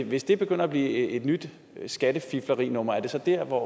hvis det begynder at blive et nyt skattefiflerinummer er det så der hvor